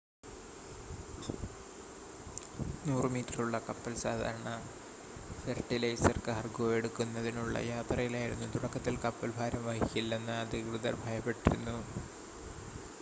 100 മീറ്ററുള്ള കപ്പൽ സാധാരണ ഫെർട്ടിലൈസർ കാർഗോ എടുക്കുന്നതിനുള്ള യാത്രയിലായിരുന്നു തുടക്കത്തിൽ കപ്പൽ ഭാരം വഹിക്കില്ലെന്ന് അധികൃതർ ഭയപ്പെട്ടിരുന്നു